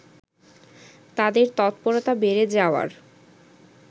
তাদের তৎপরতা বেড়ে যাওয়ার